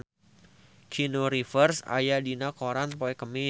Keanu Reeves aya dina koran poe Kemis